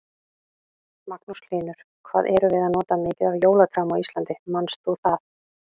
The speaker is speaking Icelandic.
Magnús Hlynur: Hvað erum við að nota mikið af jólatrjám á Íslandi, manst þú það?